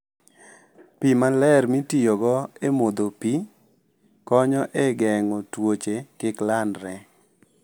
Pi maler mitiyogo e modho pi, konyo e geng'o tuoche kik landre.